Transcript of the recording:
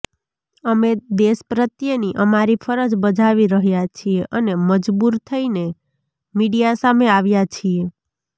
અમે દેશ પ્રત્યેની અમારી ફરજ બજાવી રહ્યા છીએ અને મજબૂર થઇને મીડિયા સામે આવ્યા છીએ